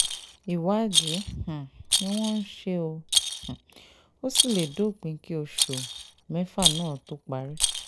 ìwádìí um ni wọ́n ń ṣe ó um sì lè dópin kí oṣù mẹ́fà náà tóó parí